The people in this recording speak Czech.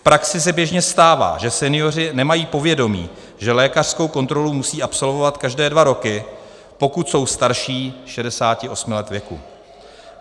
V praxi se běžně stává, že senioři nemají povědomí, že lékařskou kontrolu musí absolvovat každé dva roky, pokud jsou starší 68 let věku.